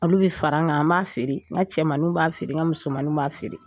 Olu bɛ farr'an kan an b'a feere, n ka cɛmanninw b'a feere, n ka musomaniw b'a feere!